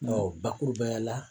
Ɔɔ bakuruba ya la